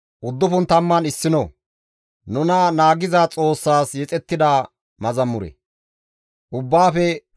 Ubbaafe Dhoqqa GODAAN zemppi de7izay, ubbaa dandayza Xoossa kuwan aqees.